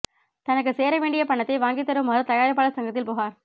தனக்கு சேர வேண்டிய பணத்தை வாங்கித் தருமாறு தயாரிப்பாளர் சங்கத்தில் புகார்